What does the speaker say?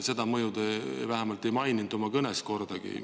Seda mõju te vähemalt oma kõnes ei maininud kordagi.